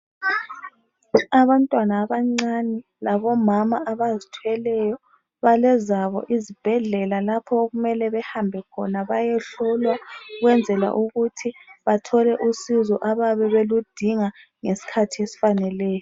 Abantwana abancane labomama abazithweleyo, balezabo izibhedlela lapho okumele behambe khona bayehlolwa, ukwenzela ukuthi bathole usizo abayabe beludinga ngesikhathi esifaneleyo.